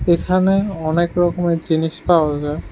এখানে অনেক রকমের জিনিস পাওয়া যায়।